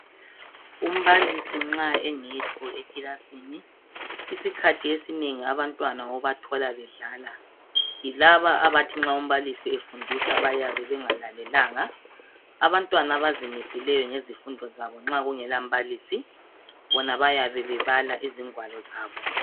Umbalisi nxa engekho ekilas8ni. Isikhathi abantwana obathola bedlala, yilabo abathi nxa umbalisi efundisa bayabe bengalalelanga. Abantwana abazimiseleyo ngezifundo zabo, nxa kungalambalisi, bona bayabe bebala izingwalo zabo.